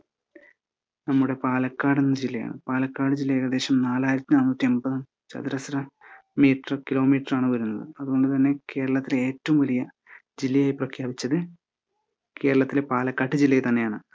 നമ്മുടെ പാലക്കാടൻ ജില്ലയാണ്. പാലക്കാട് ജില്ലാ ഏകദേശം നാലായിരത്തിനാനൂറ്റി എൺപത് ചതുരശ്ര മീറ്റർ കിലോമീറ്ററാണ് വരുന്നത്. അതുകൊണ്ട്തന്നെ കേരളത്തിലെ ഏറ്റവും വലിയ ജില്ലയായി പ്രഖ്യാപിച്ചത്‌ കേരളത്തിലെ പാലക്കാട്ട് ജില്ലയെത്തന്നെയാണ്.